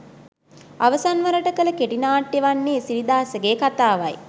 අවසන් වරට කළ කෙටි නාට්‍යය වන්නේ සිරිදාසගේ කතාවයි